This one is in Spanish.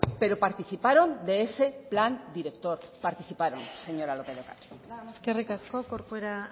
pero participaron de ese plan director participaron señora lópez de ocariz nada más eskerrik asko corcuera